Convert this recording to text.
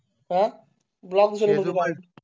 हा ब्लॉक वाटो